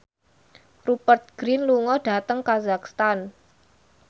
Rupert Grin lunga dhateng kazakhstan